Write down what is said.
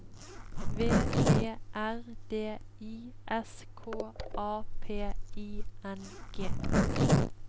V E R D I S K A P I N G